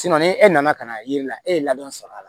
ni e nana ka na yiri la e ye ladon sɔrɔ a la